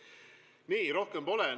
Rohkem pole.